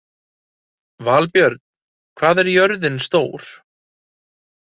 Valbjörn, hvað er jörðin stór?